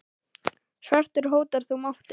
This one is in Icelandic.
svartur hótar nú máti.